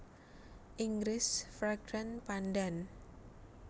Inggris Fragrant pandan